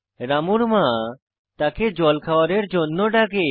রামুর মা তাকে জল খাওয়ারের জন্য ডাকে